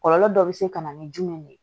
Kɔlɔlɔ dɔ bɛ se ka na ni jumɛn de ye